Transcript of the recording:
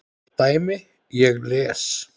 dæmi: Ég les.